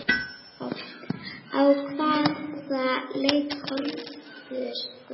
Á hvaða leik horfðir þú?